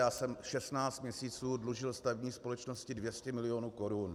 Já jsem 16 měsíců dlužil stavební společnosti 200 milionů korun.